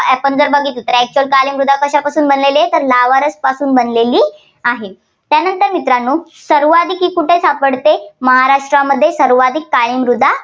आपण जर बघितलं तर actual काळी मृदा कशापासून बनलेली आहे, तर lava रस पासून बनलेली आहे. त्यानंतर मित्रांनो सर्वाधिक ही कुठे सापडते महाराष्ट्रामध्ये सर्वाधिक काळी मृदा